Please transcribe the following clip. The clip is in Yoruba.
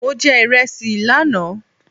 Mo jẹ ìresì lánàá